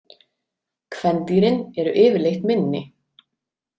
Kvendýrin eru yfirleitt minni.